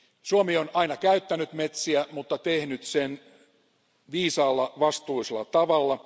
Suomi on aina käyttänyt metsiä, mutta tehnyt sen viisaalla, vastuullisella tavalla.